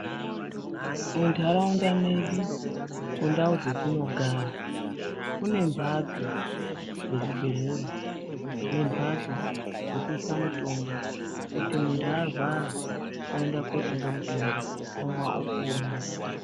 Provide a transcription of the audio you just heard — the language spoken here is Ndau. Muntaraunda medu, kundau dzetinogara ,kune mphatso dzezvibhedhlera ,nemphatso dzekuisa mitombo, kuti muntu arwara ,oenda kootenga mutombo ,omwa ,opona.